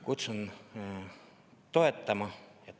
" Kutsun toetama!